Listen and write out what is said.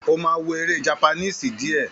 Ó má wó èré jápánísí dìé